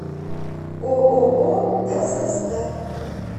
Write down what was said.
ооо сст